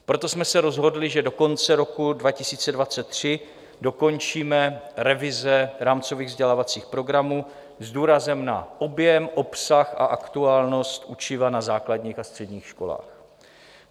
Proto jsme se rozhodli, že do konce roku 2023 dokončíme revize rámcových vzdělávacích programů s důrazem na objem, obsah a aktuálnost učiva na základních a středních školách.